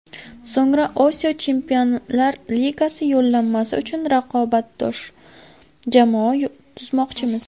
So‘ngra Osiyo Chempionlar Ligasi yo‘llanmasi uchun raqobatbardosh jamoa tuzmoqchimiz.